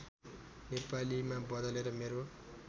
नेपालीमा बदलेर मेरो